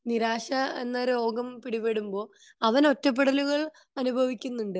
നിരാശ എന്ന രോഗം പിടിപെടുമ്പോ അവൻ ഒറ്റപെടലുകൾ അനുഭവിക്കുന്നുണ്ട്